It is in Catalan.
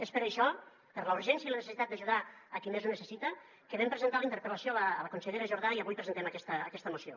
és per això per la urgència i la necessitat d’ajudar qui més ho necessita que vam presentar la interpel·lació a la consellera jordà i avui presentem aquesta moció